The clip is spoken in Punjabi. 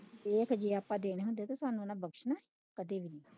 ਇਹ ਕੀਤੇ ਆਪਾਂ ਦੇਣੇ ਹੁੰਦੇ ਓਹਨਾ ਬਖਸ਼ਣਾ ਹੀ ਕਦੀ ਵੀ ਨਹੀਂ।